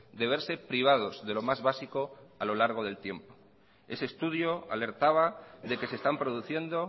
de verse privados de lo más básico a lo largo del tiempo ese estudio alertaba de que se están produciendo